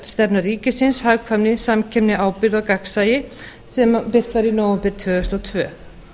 innkaupastefna ríkisins hagkvæmni samkeppni ábyrgð og gagnsæi sem birt var í nóvember tvö þúsund og tvö